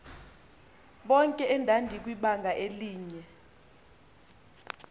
bonke endandikwibanga elinye